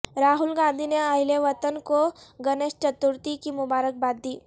راہل گاندھی نے اہل وطن کو گنیش چترتھی کی مبارکباد دی